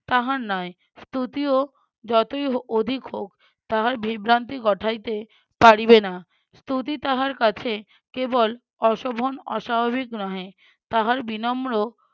তাহার নাই। স্তুতিও যতই অ~ অধিক হোক তাহার হোক তাহার বিভ্রান্তি ঘটাইতে পারিবে না স্তুতি তাহার কাছে কেবল অশোভন অস্বাভাবিক নহে তাহার বিনম্র